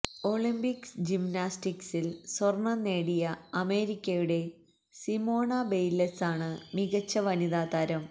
Olympics ജിംനാസ്റ്റിക്സില് സ്വര്ണം നേടിയ അമേരിക്കയുടെ സിമോണ ബെയ്ല്സാണ് മികച്ച വനിതാ താരം